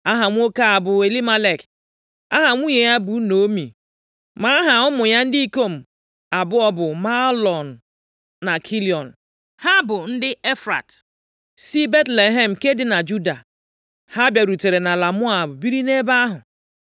Aha nwoke a bụ Elimelek. Aha nwunye ya bụ Naomi, ma aha ụmụ ya ndị ikom abụọ bụ Mahlọn na Kilịọn. Ha bụ ndị Efrat + 1:2 Efrata bụ aha ezinaụlọ ebe Elimelek si pụta. Ọ bụ Elimelek gụrụ mpaghara ala ahụ dị nso Betlehem, Efrata. Mgbe ụfọdụ a na-akpọkwa ya Betlehem Efrata. \+xt Rut 4:11; Jen 35:19; 1Sa 17:12; Mai 5:2\+xt* si Betlehem nke dị na Juda. Ha bịarutere nʼala Moab biri nʼebe ahụ.